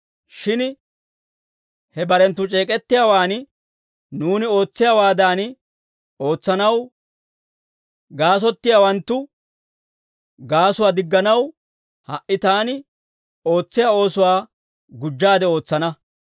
Shin he barenttu c'eek'ettiyaawaan nuuni ootsiyaawaadan ootsanaw gaasottiyaawanttu gaasuwaa digganaw, ha"i taani ootsiyaa oosuwaa gujjaade ootsana.